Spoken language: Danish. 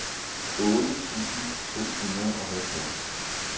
otte tusind to hundrede og halvfjerds